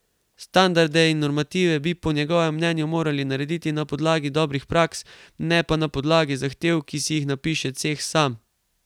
Standarde in normative bi po njegovem mnenju morali narediti na podlagi dobrih praks, ne pa na podlagi zahtev, ki si jih napiše ceh sam.